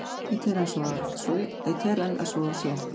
Ég tel enn að svo sé.